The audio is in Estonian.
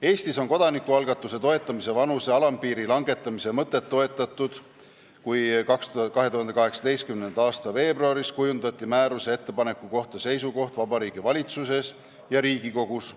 Eestis on kodanikualgatuse toetamise vanuse alampiiri langetamise mõtet toetatud, kui 2018. aasta veebruaris kujundati määruse ettepaneku kohta seisukoht Vabariigi Valitsuses ja Riigikogus.